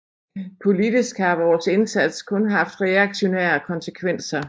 Politisk har vores indsats kun haft reaktionære konsekvenser